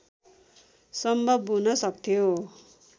सम्भव हुन सक्थ्यो